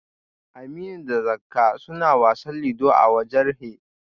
Aminu da Zakka suna wasa ludo a waje rhe